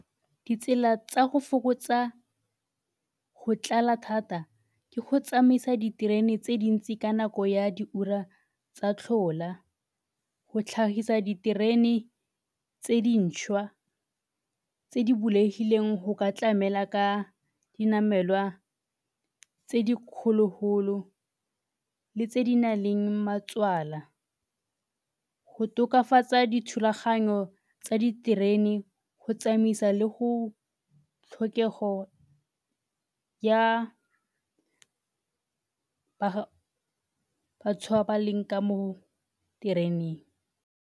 Ditsela tsa go fokotsa go tlala thata ke go tsamaisa diterene tse dintsi ka nako ya diura tsa tlhola go tlhagisa diterene tse dintšhwa tse di bulegileng go ka tlamela ka dinamelwa tse di kgolo-golo le tse di na leng matswala. Go tokafatsa dithulaganyo tsa diterene go tsamaisa le go tlhokego ya batho ba ba leng ka mo tereneng.